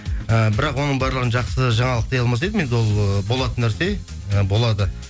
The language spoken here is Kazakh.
і бірақ оның барлығын жақсы жаңалық дей алмас едім енді ол ыыы болатын нәрсе і болады